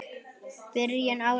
Byrjun árs.